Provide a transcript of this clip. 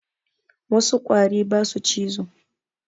Wassu ƙwari basu cizo